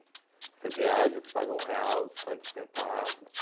Você viaja, você paga um real, cinquenta centavos.